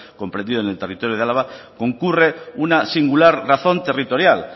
comprendido en el territorio de álava concurre una singular razón territorial